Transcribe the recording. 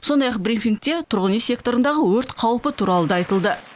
сондай ақ брифингте тұрғын үй секторындағы өрт қаупі туралы да айтылды